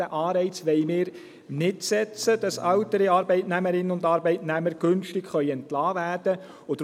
Diesen Anreiz wollen wir nicht setzen, dass ältere Arbeitnehmerinnen und Arbeitnehmer günstig entlassen werden können.